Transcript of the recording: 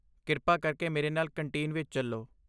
ਕਿਰਪਾ ਕਰਕੇ ਮੇਰੇ ਨਾਲ ਕੰਟੀਨ ਵਿੱਚ ਚੱਲੋ।